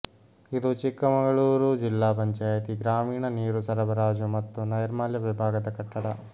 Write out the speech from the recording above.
ಇದು ಚಿಕ್ಕಮಗಳೂರು ಜಿಲ್ಲಾ ಪಂಚಾಯಿತಿ ಗ್ರಾಮೀಣ ನೀರು ಸರಬರಾಜು ಮತ್ತು ನೈಮಲ್ಯ ವಿಭಾಗದ ಕಟ್ಟಡ